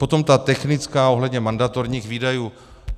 Potom ta technická, ohledně mandatorních výdajů.